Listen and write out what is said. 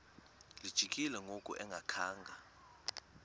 lijikile ngoku engakhanga